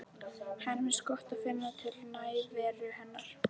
Henni finnst gott að finna til nærveru hennar.